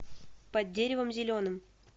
под деревом зеленым